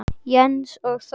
Jens og Þórey.